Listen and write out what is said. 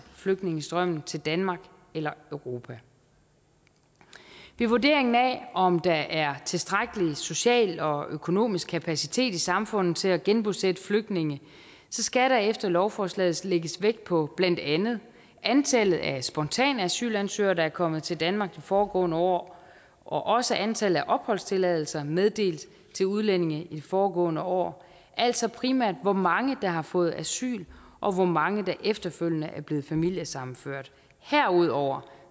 flygtningestrømmen til danmark eller europa ved vurderingen af om der er tilstrækkelig social og økonomisk kapacitet i samfundet til at genbosætte flygtninge skal der efter lovforslaget lægges vægt på blandt andet antallet af spontane asylansøgere der er kommet til danmark de foregående år og også antallet af opholdstilladelser meddelt til udlændinge i de foregående år altså primært hvor mange der har fået asyl og hvor mange der efterfølgende er blevet familiesammenført herudover